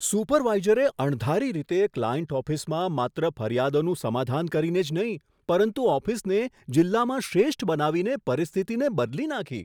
સુપરવાઇઝરે અણધારી રીતે ક્લાયન્ટ ઓફિસમાં માત્ર ફરિયાદોનું સમાધાન કરીને જ નહીં પરંતુ ઓફિસને જિલ્લામાં શ્રેષ્ઠ બનાવીને પરિસ્થિતિને બદલી નાંખી.